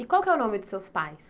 E qual que é o nome de seus pais?